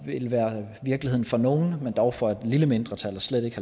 ville være virkeligheden for nogle men dog for et lille mindretal og slet ikke